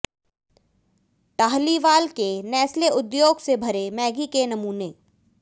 टाहलीवाल के नेस्ले उद्योग से भरे मैगी के नमूने